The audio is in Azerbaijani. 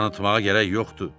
Tanıtmağa gərək yoxdur.